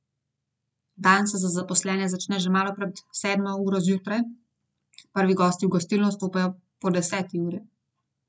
Dan se za zaposlene začne že malo pred sedmo uro zjutraj, prvi gosti v gostilno vstopajo po deseti uri.